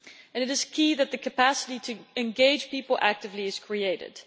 It is key that the capacity to engage people actively is created.